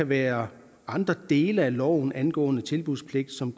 være andre dele af loven der angår tilbudspligten som